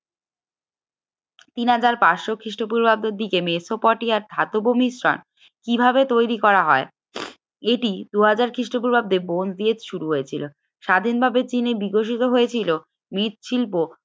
তিন হাজার পাঁচ শ খ্রিস্টপূর্বাব্দের দিকে মেসোপটে আর ধাতব মিশ্রণ কিভাবে তৈরি করা হয় এটি দু হাজার খ্রিস্টপূর্বাব্দ ব্রোঞ্জ দিয়ে শুরু হয়েছিল স্বাধীন ভাবে চিনে বিকশিত হয়েছিল মৃৎশিল্প